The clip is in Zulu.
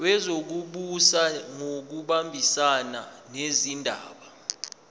wezokubusa ngokubambisana nezindaba